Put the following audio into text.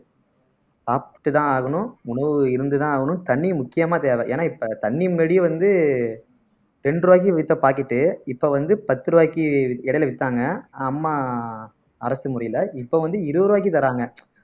சாப்பிட்டுதான் ஆகணும் உணவு இருந்துதான் ஆகணும் தண்ணி முக்கியமா தேவை ஏன்னா இப்ப தண்ணி முன்னாடியே வந்து ரெண்டு ரூபாய்க்கு வித்த packet இப்ப வந்து பத்து ரூபாய்க்கு இடையில வித்தாங்க அம்மா அரசு முறையில இப்ப வந்து இருபது ரூபாய்க்கு தராங்க